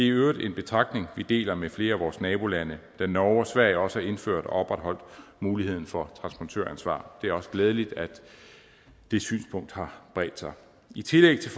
øvrigt en betragtning vi deler med flere af vores nabolande da norge og sverige også har indført og opretholdt muligheden for transportøransvar det er også glædeligt at det synspunkt har bredt sig i tillæg til